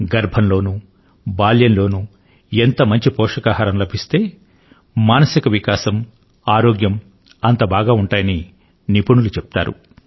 గర్భంలోనూ బాల్యంలోనూ ఎంత మంచి పోషకాహారం లభిస్తే మానసిక వికాసం ఆరోగ్యం అంతబాగా ఉంటాయని నిపుణులు చెప్తారు